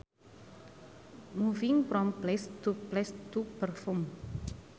Moving from place to place to perform